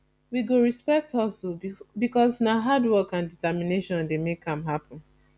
we go respect hustle because na hardwork and determination dey make am happen